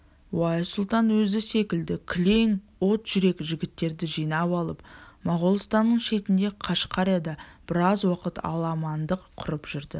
уайс сұлтан өзі секілді кілең от жүрек жігіттерді жинап алып моғолстанның шетінде қашқарияда біраз уақыт аламандық құрып жүрді